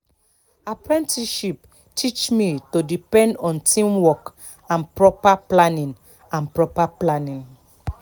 apprenticeship teach me to depend on teamwork and proper planning and proper planning